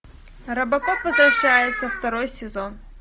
робокоп возвращается второй сезон